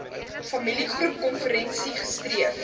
familiegroep konferensie streef